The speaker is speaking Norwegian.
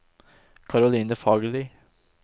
Caroline Fagerli